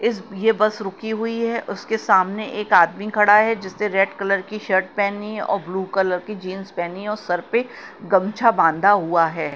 इस यह बस रुकी हुई है उसके सामने एक आदमी खड़ा है जिससे रेड कलर की शर्ट पहनी है और ब्लू कलर की जींस पहनी और सर पे गमछा बांधा हुआ है।